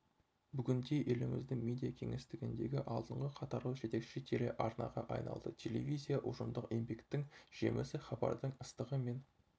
бүгінде еліміздің медиакеңістігіндегі алдыңғы қатарлы жетекші телеарнаға айналды телевизия ұжымдық еңбектің жемісі хабардың ыстығы мен